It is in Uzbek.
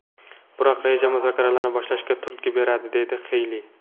Biroq reja muzokaralarni boshlashga turtki beradi”, dedi Xeyli.